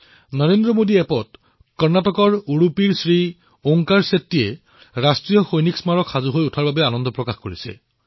নৰেন্দ্ৰ মোদী এপত উদুপি কৰ্ণাটকৰ শ্ৰী ঔংকাৰ শেট্টীজীয়ে ৰাষ্ট্ৰীয় সৈনিক স্মাৰক প্ৰস্তুত হোৱাত নিজৰ প্ৰসন্নতা প্ৰকাশ কৰিছে